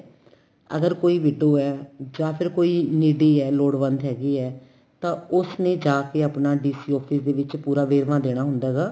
ਅਗਰ ਕੋਈ ਵਿਦੋ ਏ ਜਾਂ ਫੇਰ ਕੋਈ needy ਏ ਲੋੜਵੰਦ ਹੈਗੀ ਏ ਤਾਂ ਉਸ ਨੇ ਜਾ ਕੇ ਆਪਣਾ DC office ਦੇ ਵਿੱਚ ਪੂਰਾ ਵੇਰਵਾ ਦੇਣਾ ਹੁੰਦਾ ਹੈਗਾ